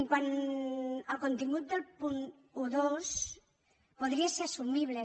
quant al contingut del punt dotze podria ser assumible